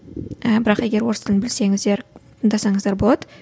ы бірақ егер орыс тілін білсеңіздер тыңдасаңыздар болады